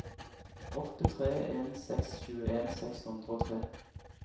åtte tre en seks tjueen seks hundre og tre